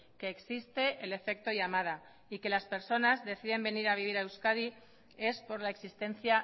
que existe el efecto llamada y que las personas deciden venir a vivir a euskadi es por la existencia